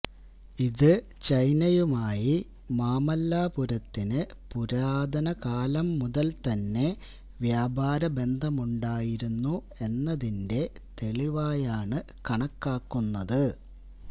ഇത് ചൈനയുമായി മാമല്ലാപുരത്തിന് പുരാതന കാലം മുതല് തന്നെ വ്യാപാര ബന്ധമുണ്ടായിരുന്നു എന്നതിന്റെ തെളിവായാണ് കണക്കാക്കുന്നത്